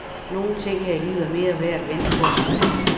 Nogle ting her i livet er mere værd at vente på end andre.